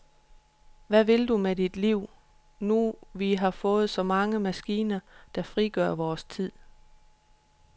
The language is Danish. Hvad vil du med dit liv, nu vi har fået så mange maskiner, der frigør vores tid?